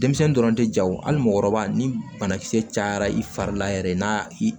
Denmisɛnnin dɔrɔn tɛ jagoyali mɔgɔkɔrɔba ni banakisɛ cayara i fari la yɛrɛ n'a i